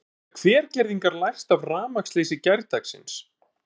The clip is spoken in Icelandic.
En hvað geta Hvergerðingar lært af rafmagnsleysi gærdagsins?